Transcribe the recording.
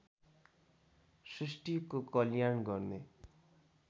सृष्टिको कल्याण गर्ने